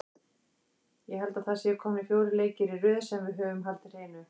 Ég held að það séu komnir fjórir leikir í röð sem við höfum haldið hreinu.